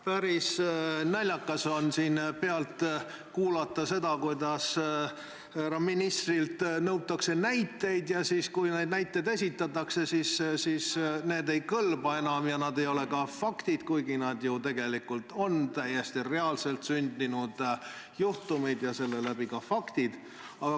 Päris naljakas on siin pealt kuulata seda, kuidas härra ministrilt nõutakse näiteid, ja siis, kui need näited esitatakse, siis need ei kõlba enam ja need ei ole ka faktid, kuigi need tegelikult on ju täiesti reaalselt sündinud juhtumid ja seega ka faktid.